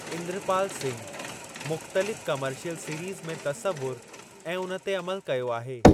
इंद्रपाल सिंघ, मुख़्तलिफ़ commercial series में तसवुर ऐं उन ते अमलु कयो आहे।